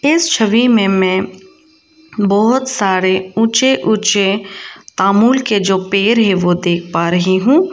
इस छवि में मैं बहुत सारे ऊंचे ऊंचे तामूल के जो पेड़ होते हैं वो देख पा रही हूं।